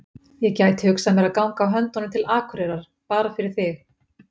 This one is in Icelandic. Ég gæti hugsað mér að ganga á höndunum til Akureyrar, bara fyrir þig.